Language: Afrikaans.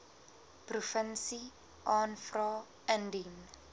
provinsie aanvra indien